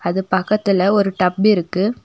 அது பக்கத்துல ஒரு டப் இருக்கு.